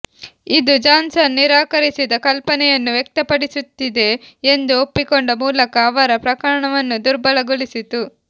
ಇದು ಜಾನ್ಸನ್ ನಿರಾಕರಿಸಿದ ಕಲ್ಪನೆಯನ್ನು ವ್ಯಕ್ತಪಡಿಸುತ್ತಿದೆ ಎಂದು ಒಪ್ಪಿಕೊಂಡ ಮೂಲಕ ಅವರ ಪ್ರಕರಣವನ್ನು ದುರ್ಬಲಗೊಳಿಸಿತು